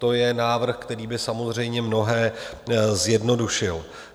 To je návrh, který by samozřejmě mnohé zjednodušil.